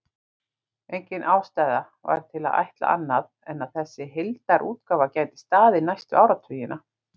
Engin ástæða var til að ætla annað en að þessi heildarútgáfa gæti staðið næstu áratugina.